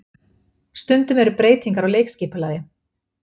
Stundum eru breytingar á leikskipulagi